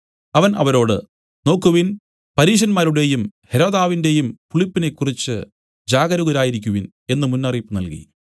അവൻ അവരോട് നോക്കുവിൻ പരീശരുടെയും ഹെരോദാവിന്റെയും പുളിപ്പിനെക്കുറിച്ച് ജാഗരൂകരായിരിക്കുവിൻ എന്നു മുന്നറിയിപ്പ് നൽകി